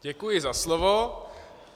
Děkuji za slovo.